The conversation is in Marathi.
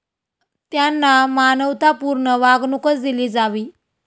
त्यांना मानवतापूर्ण वागणूकच दिली जावी.